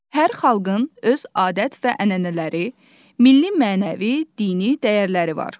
Hər xalqın öz adət və ənənələri, milli-mənəvi, dini dəyərləri var.